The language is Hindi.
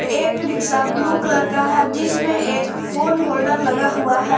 एक रिक्शा ब्लू कलर का है जिसमें एक फोन होल्डर लगा हुआ है।